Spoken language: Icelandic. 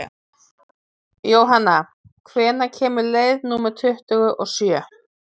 Jónanna, hvenær kemur leið númer tuttugu og sjö?